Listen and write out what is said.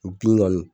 Bin kɔni